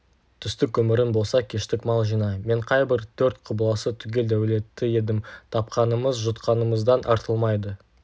түстік өмірің болса кештік мал жина мен қайбір төрт құбыласы түгел дәулетті едім тапқанымыз жұтқанымыздан артылмайды